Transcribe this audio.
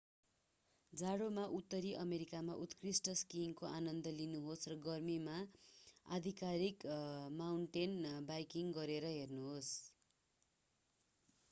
जाडोमा उत्तरी अमेरिकामा उत्कृष्ट स्कीइङको आनन्द लिनुहोस् र गर्मीमा आधिकारिक माउन्टेन बाइकिङ गरेर हेर्नुहोस्